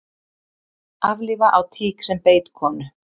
Aflífa á tík sem beit konu